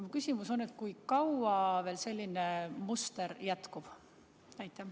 Minu küsimus on: kui kaua veel selline muster jätkub?